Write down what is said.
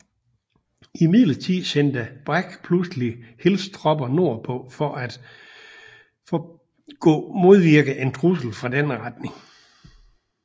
Imidlertid sendte Bragg pludselig Hills tropper nordpå for gå modvirke en trussel fra denne retning